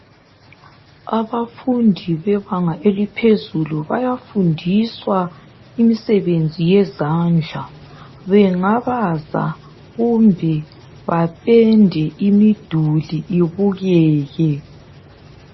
Abafundi bebanga eliphezulu bayafundiswa imisebenzi yezandla bengabaza kumbe bapende imiduli ibukeke.